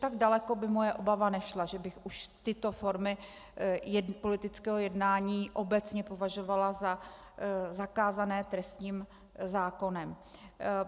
Tak daleko by moje obava nešla, že bych už tyto formy politického jednání obecně považovala za zakázané trestním zákonem.